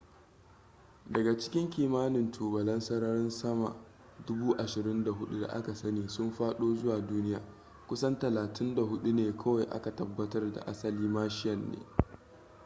daga cikin kimanin tubalan sararin sama 24,000 da aka sani sun fado zuwa duniya kusan 34 ne kawai aka tabbatar da asali martian ne